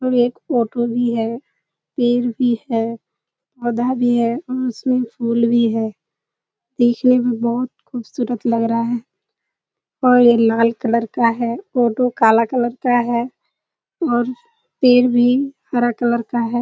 और एक ऑटो भी है पेड़ भी हैं पौधा भी हैं उसमें फूल भी है देखने में बोहोत खूबसूरत लग रहा है और ये लाल कलर का है। ऑटो काला कलर का है और पेड़ भी हरा कलर का है।